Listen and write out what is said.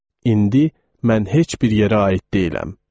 indi mən heç bir yerə aid deyiləm.